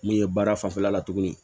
Min ye baara fanfɛla la tuguni